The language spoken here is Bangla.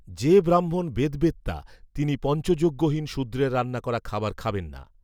যে ব্রাহ্মণ বেদবেত্তা তিনি পঞ্চযজ্ঞহীন শূদ্রের রান্না করা খাবার খাবেন না